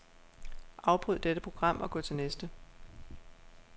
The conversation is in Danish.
Afbryd dette program og gå til næste.